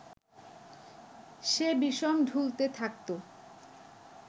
সে বিষম ঢুলতে থাকত